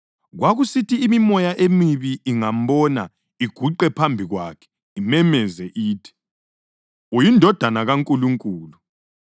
Kwakusithi imimoya emibi ingambona iguqe phambi kwakhe imemeze ithi, “UyiNdodana kaNkulunkulu.”